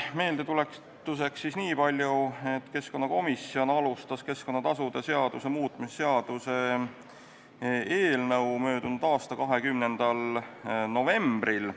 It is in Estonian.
Meeldetuletuseks niipalju, et keskkonnakomisjon algatas keskkonnatasude seaduse muutmise seaduse eelnõu möödunud aastal 20. novembril.